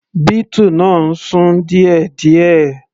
Beetle náà ń sún díẹ̀díẹ̀.